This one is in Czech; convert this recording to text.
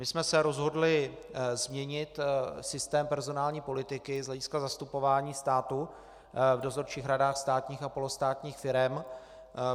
My jsme se rozhodli změnit systém personální politiky z hlediska zastupování státu v dozorčích radách státních a polostátních firem.